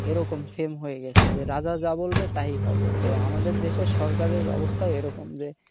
এরকম same হয়ে গেছে যে রাজা যা বলবে তাই হবে তো আমাদের দেশের সরকারের ওই রকম অবস্থা যে